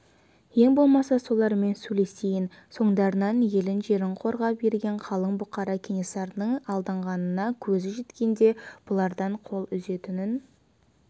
ең болмаса солармен сөйлесейін соңдарынан елін жерін қорғап ерген қалың бұқара кенесарының алдағанына көзі жеткенде бұлардан қол үзетінін